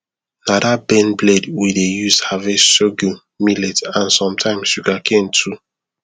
na that bend blade we dey use harvest sorghum millet and sometimes sugarcane too